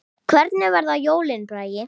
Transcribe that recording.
Hvernig verða jólin, Bragi?